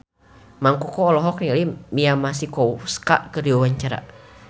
Mang Koko olohok ningali Mia Masikowska keur diwawancara